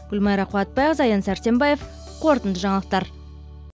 гүлмайра қуатбайқызы аян сәрсенбаев қорытынды жаңалықтар